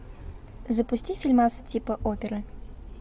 запусти фильмас типа оперы